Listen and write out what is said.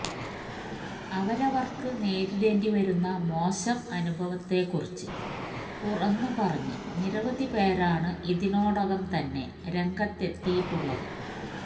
അവരവര്ക്ക് നേരിടേണ്ടി വന്ന മോശം അനുഭവത്തെക്കുറിച്ച് തുറന്ന് പറഞ്ഞ് നിരവധി പേരാണ് ഇതിനോടകം തന്നെ രംഗത്തെത്തിയിട്ടുള്ളത്